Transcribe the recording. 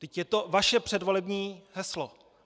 Vždyť je to vaše předvolební heslo.